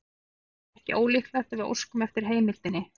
Það er ekki ólíklegt að við óskum eftir heimildinni.